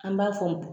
An b'a fɔ